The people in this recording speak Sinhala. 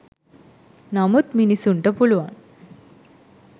නමුත් මිනිස්සුන්ට පුළුවන්